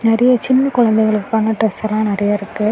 நெறைய சின்ன குழந்தைகளுக்கான டிரஸ் எல்லாம் நெறைய இருக்கு.